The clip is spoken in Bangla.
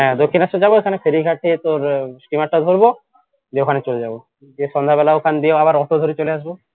হ্যাঁ দক্ষিনেশ্বর যাবো ওখানে ফেরীঘাটে তোর steamer টা ধরবো দিয়ে ওখানে চলে যাব দিয়ে সন্ধ্যা বেলা ওখান দিয়ে আবার auto ধরে চলে আসব